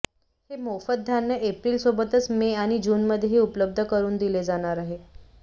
हे मोफत धान्य एप्रिलसोबतच मे आणि जूनमध्येही उपलब्ध करून दिले जाणार आहे